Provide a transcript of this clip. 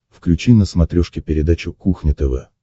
включи на смотрешке передачу кухня тв